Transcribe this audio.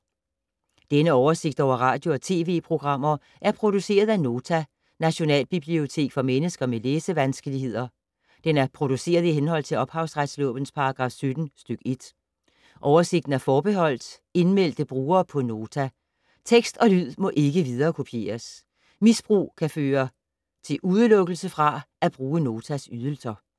Denne oversigt over radio og TV-programmer er produceret af Nota, Nationalbibliotek for mennesker med læsevanskeligheder. Den er produceret i henhold til ophavsretslovens paragraf 17 stk. 1. Oversigten er forbeholdt indmeldte brugere på Nota. Tekst og lyd må ikke viderekopieres. Misbrug kan medføre udelukkelse fra at bruge Notas ydelser.